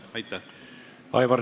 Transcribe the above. Aitäh!